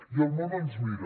i el món ens mira